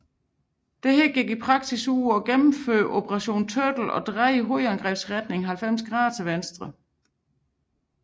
Disse gik i praksis ud på at gennemføre Operation Turtle og dreje hovedangrebsretningen 90 grader til venstre